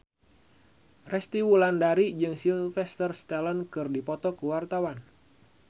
Resty Wulandari jeung Sylvester Stallone keur dipoto ku wartawan